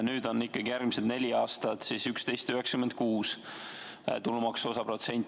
Nüüd on ikkagi järgmised neli aastat 11,96 tulumaksuosa protsent.